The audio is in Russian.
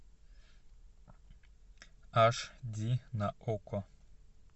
аш ди на окко